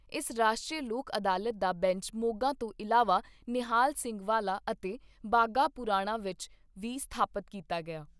ਇਸ ਰਾਸ਼ਟਰੀ ਲੋਕ ਅਦਾਲਤ ਦਾ ਬੈਂਚ ਮੋਗਾ ਤੋਂ ਇਲਾਵਾ ਨਿਹਾਲ ਸਿੰਘ ਵਾਲਾ ਅਤੇ ਬਾਘਾਪੁਰਾਣਾ ਵਿੱਚ ਵੀ ਸਥਾਪਿਤ ਕੀਤਾ ਗਿਆ।